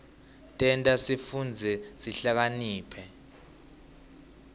tenta sifundze sihlakaniphe